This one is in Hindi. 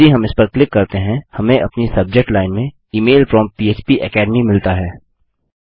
यदि हम इस पर क्लिक करते हैं हमें अपनी सब्जेक्ट लाइन में इमेल फ्रॉम फ्पेकेडमी मिलता है